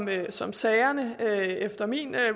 det som sagerne efter min